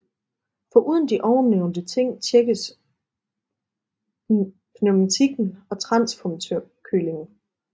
Foruden de ovennævnte ting tjekkes pneumatikken og transformatorkølingen